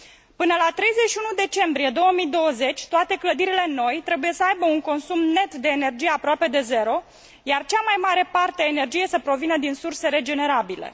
Până la 31 decembrie 2020, toate clădirile noi trebuie să aibă un consum net de energie aproape de zero, iar cea mai mare parte a energiei trebuie să provină din surse regenerabile.